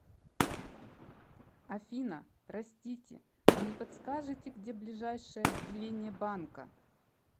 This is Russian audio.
афина простите вы не подскажете где ближайшее отделение банка